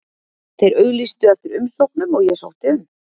Þeir auglýstu eftir umsóknum og ég sótti um.